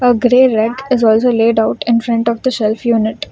A grey red is also laid out in front of the shelf unit.